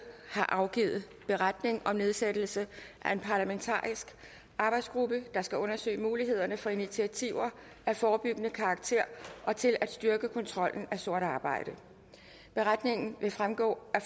har afgivet beretning om nedsættelse af en parlamentarisk arbejdsgruppe der skal undersøge mulighederne for initiativer af forebyggende karakter og til at styrke kontrollen af sort arbejde beretningen vil fremgå af